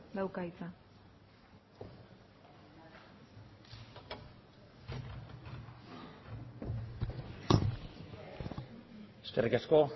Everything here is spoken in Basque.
dauka hitza eskerrik asko